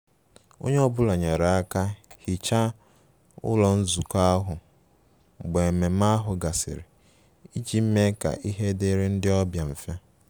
Onye ọ bụla nyere aka hichaa ụlọ nzukọ ahụ mgbe ememe ahụ gasịrị iji mee ka ihe dịrị ndị ọbịa mfe